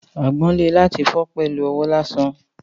Àgbọn le láti fi pẹlu owó lásán